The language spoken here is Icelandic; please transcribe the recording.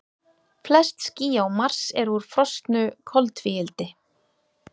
Flest ský á Mars eru úr frosnu koltvíildi.